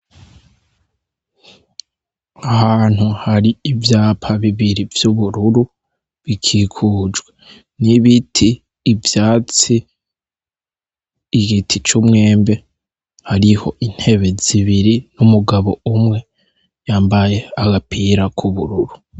Ahantu hari ivyapa bibiri vy'ubururu bikikujwe n'ibiti, ivyatsi, igiti vy'umwembe. Hariho intebe zibiri n'umugabo umwe yambaye agapira k'ubururu.